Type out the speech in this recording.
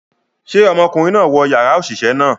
Ṣe ọmọkunrin naa wọ yara oṣiṣẹ naa?